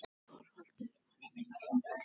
ÞORVALDUR: Hann er með lækni um borð.